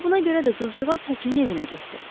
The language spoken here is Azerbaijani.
Elə buna görə də qızcığaz həkimin evinə getdi.